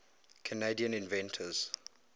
canadian inventors